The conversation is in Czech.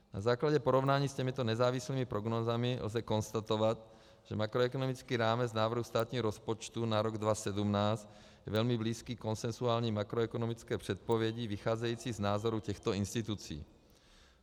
Na základě porovnání s těmito nezávislými prognózami lze konstatovat, že makroekonomický rámec návrhu státního rozpočtu na rok 2017 je velmi blízký konsenzuální makroekonomické předpovědi vycházející z názoru těchto institucí.